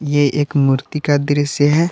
ये एक मूर्ति का दृश्य है।